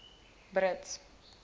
brits